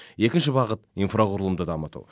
екінші бағыт инфрақұрылымды дамыту